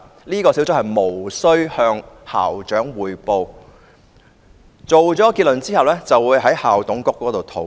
這個小組無須向校長匯報，作出結論後便會在校董會內討論。